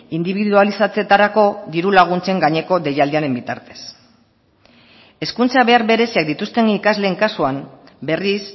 indibidualizatzetarako diru laguntzen gaineko deialdiaren bitartez hezkuntza behar bereziak dituzten ikasleen kasuan berriz